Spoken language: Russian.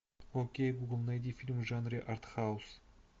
окей гугл найди фильм в жанре артхаус